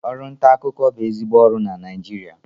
Ọrụ nta akụkọ bụ ezigbo ọrụ na Naịjirịa